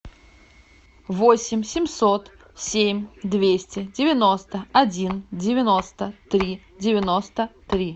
восемь семьсот семь двести девяносто один девяносто три девяносто три